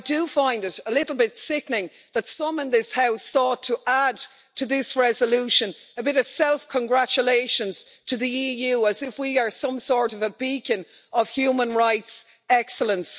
But I do find it a little bit sickening, that some in this House sought to add to this resolution a bit of self congratulations to the EU, as if we are some sort of a beacon of human rights excellence.